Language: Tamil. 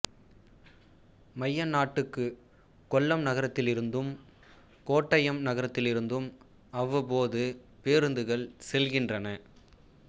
மையநாட்டுக்கு கொல்லம் நகரத்திலிருந்தும் கோட்டயம் நகரத்திலிருந்தும் அவ்வப்போது பேருந்துகள் செல்கின்றன